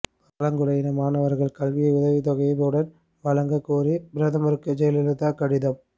பழங்குடியின மாணவர்களின் கல்வி உதவித் தொகையை உடன் வழங்க கோரி பிரதமருக்கு ஜெயலலிதா கடிதம்